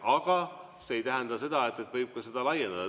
Aga see ei tähenda seda, et seda ei või laiendada.